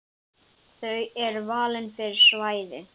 Þau eru valin fyrir svæðið.